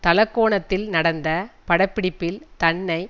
தலக்கோணத்தில் நடந்த பட பிடிப்பில் தன்னை